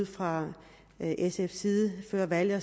fra sfs side før valget